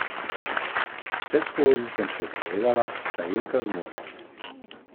Vseskozi sem se zavedala, kaj Ilka zmore.